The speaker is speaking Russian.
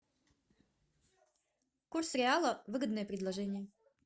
курс реала выгодное предложение